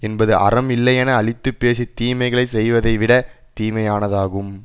என்பது அறம் இல்லையென அழித்து பேசி தீமைகளை செய்வதைவிடத் தீமையானதாகும்